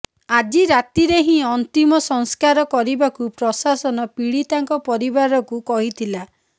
ଆଜି ରାତିରେ ହିଁ ଅନ୍ତିମ ସଂସ୍କାର କରିବାକୁ ପ୍ରଶାସନ ପୀଡ଼ିତାଙ୍କ ପରିବାରକୁ କହିଥିଲା